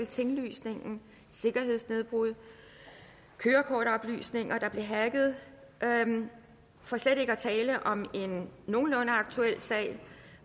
tinglysningen sikkerhedsnedbrud kørekortoplysninger der blev hacket for slet ikke at tale om en nogenlunde aktuel sag